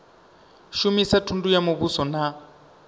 shumisa thundu ya muvhuso na